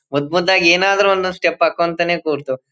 ಮುದ್ ಮುದ್ದಾಗಿ ಏನಾದ್ರು ಒಂದು ಸ್ಟೆಪ್ ಹಾಕು ಅಂತಾನೆ ಕೂರ್ತು.